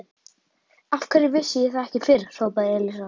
Af hverju vissi ég það ekki fyrr? hrópaði Elísa.